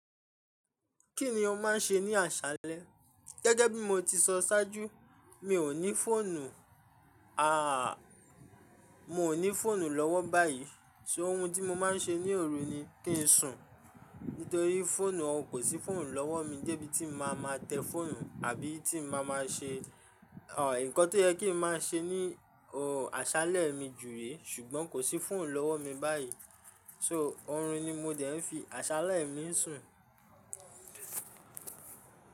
Kí ni o máa ń ṣe ní àṣálẹ́? Gẹ́gẹ́ bí mo ti sọ ṣáájú mi ò ní fóònù, àà, mo ní fóònù lọ́wọ́ báyìí. Ṣé ohun tí mo máa ń ṣe ní òru ni kí n sùn. Nítorí fóònù, òun kò sí fóònù lọ́wọ́ mi dẹ́ bí tí mo máa ma tẹ fóònù àbí tí mo máa ma ṣe, òh, ǹkan tó yẹ kí n máa ṣe ní, òh, àṣálẹ́ mi jù re. Ṣùgbọ́n kò sí fóònù lọ́wọ́ mi báyìí. Ṣo òòrùn ni mo dẹ̀ ń fi àṣálẹ́ mi sùn.